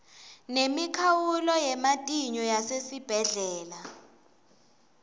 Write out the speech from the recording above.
nemikhawulo yematinyo yasesibhedlela